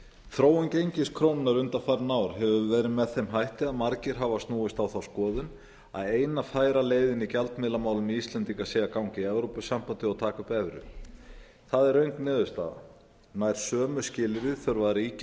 þróun gengis krónunnar undanfarin ár hefur verið með þeim hætti að margir af snúist á þá skoðun að eina færa leiðin í gjaldmiðlamálum íslendinga sé að ganga í evrópusambandið og taka upp evrur það er röng niðurstaða nær sömu skilyrði þurfa að ríkja